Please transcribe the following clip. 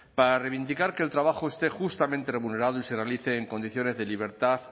para reivindicar que el trabajo esté justamente remunerado y se realice en condiciones de libertad